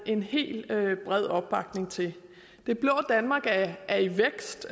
en helt bred opbakning til det blå danmark er i vækst